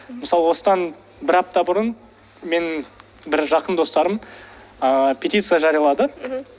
мысалы осыдан бір апта бұрын менің бір жақын достарым ыыы петиция жариялады мхм